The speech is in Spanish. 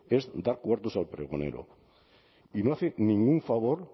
es dar cuartos al pregonero y no hace ningún favor